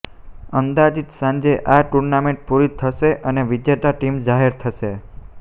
અંદાજીત સાંજે આ ટુર્નામેન્ટ પુરી થશે અને વિજેતા ટીમ જાહેર થશે